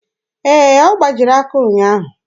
Ee, ọ gbajiri aka ụnyaahụ.